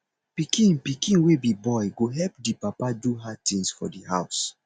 pikin pikin wey be boy go help di papa do hard tins for di house